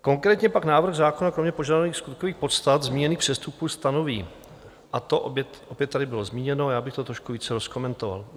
Konkrétně pak návrh zákona kromě požadovaných skutkových podstat zmíněných přestupků stanoví - a to opět tady bylo zmíněno, já bych to trošku více rozkomentoval.